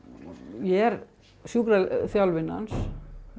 ég er sjúkraþjálfinn hans